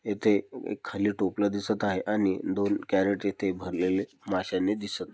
येथे एक खाली टोपल दिसत आहे आणि दोन क्यारेट भरलेल मास्याने दिसत --